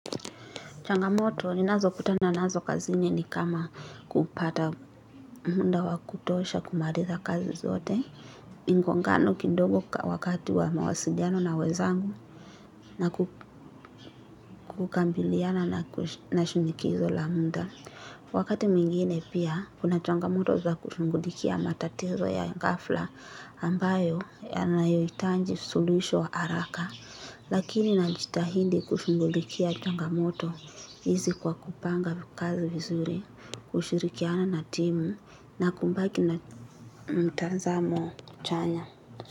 Changamoto ninazokutana nazo kazini ni kama kupata muda wa kutosha kumaliza kazi zote. Mgongano kidogo wakati wa mawasiliano na wenzangu na kukabiliana na shinikizo la muda. Wakati mwingine pia, kuna changamoto za kushughulikia matatizo ya ghafla ambayo yanayohitaji suluhisho haraka. Lakini najitahidi kushughulikia changamoto hizi kwa kupanga kazi vizuri, kushirikiana na timu na kubaki na mtazamo chanya.